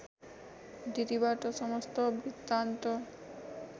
दिदीबाट समस्त वृत्तान्त